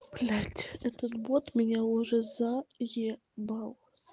блять этот бот меня уже заебал